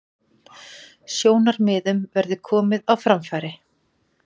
Sjónarmiðum verði komið á framfæri